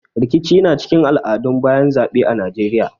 Rikici na cikin al'adun bayan zaɓe a Najeiya.